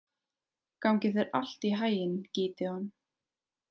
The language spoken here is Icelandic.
Gangi þér allt í haginn, Gídeon.